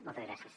moltes gràcies